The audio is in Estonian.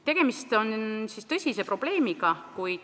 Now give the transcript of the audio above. Tegemist on tõsise probleemiga.